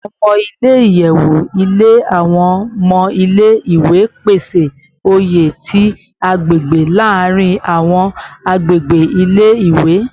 Awọn ọmọ ile-iyẹwu ile awọn ọmọ ile-iwe, pese oye ti agbegbe laarin awọn agbegbe ile-iwe